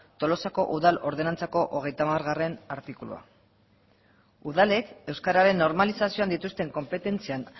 tolosako udal ordenantzako hogeita hamargarrena artikulua udalek euskararen normalizazioan dituzten konpetentzian